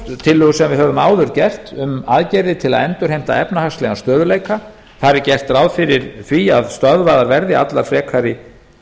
tillögu sem við höfum áður gert um um aðgerðir til að endurheimta efnahagslegan stöðugleika þar er gert ráð fyrir því að stöðvaðar verði allar frekari